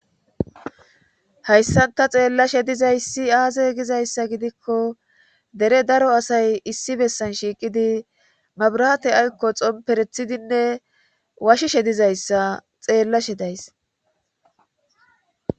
Hayssanta xeellashe dizayssi aaze gizayssa gidikko dere daro asay issi bessan shiiqidi mabrate aykko xomperethidinne washishe dizayssa xeellashe days.